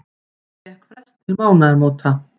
Fékk frest til mánaðamóta